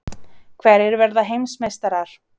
Hverjir verða heimsmeistarar?